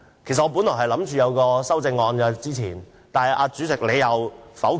其實，我本來提出了修正案，但給主席否決了。